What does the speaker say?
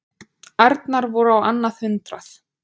Ærnar voru á annað hundrað.